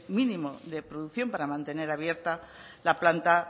mínimo de producción para mantener abierta la planta